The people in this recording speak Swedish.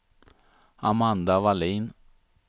Amanda Vallin